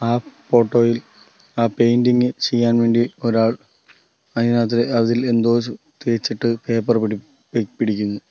ആ ഫോട്ടോ യിൽ ആ പെയിൻറിംഗ് ചെയ്യാൻ വേണ്ടി ഒരാൾ അയിനാത്ത് അതിൽ എന്തോ തേച്ചിട്ട് പേപ്പർ പിടി പിടിക്കുന്നു.